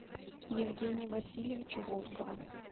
евгения васильевича волкова